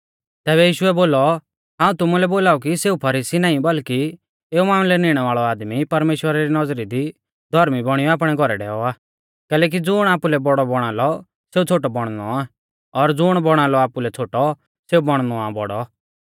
तैबै यीशुऐ बोलौ हाऊं तुमुलै बोलाऊ कि सेऊ फरीसी नाईं बल्कि एऊ मामलै निणै वाल़ौ आदमी परमेश्‍वरा री नौज़री दी धौर्मी बौणीयौ आपणै घौरै डैऔ आ कैलैकि ज़ुण आपुलै बौड़ौ बौणा लौ सेऊ छ़ोटौ बौणनौ आ और ज़ुण बौणा लौ आपुलै छ़ोटौ सेऊ बौणनौ आ बौड़ौ